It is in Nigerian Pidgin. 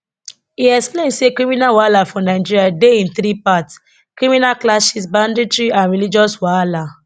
e explain say criminal wahala for nigeria dey in three parts criminal clashes banditry and religious wahala